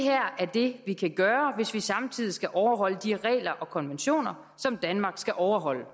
det vi kan gøre hvis vi samtidig skal overholde de regler og konventioner som danmark skal overholde